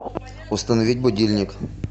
установить будильник